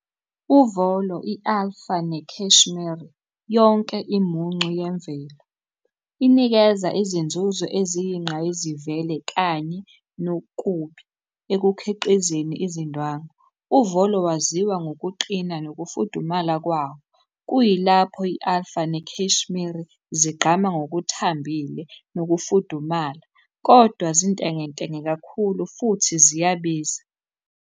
Uvolo, i-alpha ne-cashmere, yonke imuncu yemvelo. Inikeza izinzuzo eziyingqayizivele kanye nokubi ekukhiqizeni izindwangu. Uvolo waziwa ngokuqina nokufudumala kwawo. Kuyilapho i-alpha ne-cashmere zigqama ngokuthambile nokufudumala, kodwa zintengentenge kakhulu futhi ziyabiza.